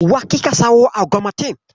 Wa kika siyowa augmentin?